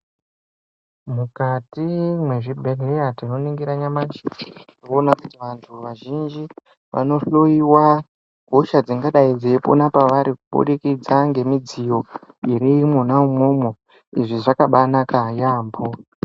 Mukati mwe zvibhedhleya tino ningira nyamashi tinoona kuti vantu vazhinji vano hloyiwa hosha dzingadai dzei pona pavari kubudikidza nge midziyo iri mwona imwomwo izvi zvakabai naka yambo.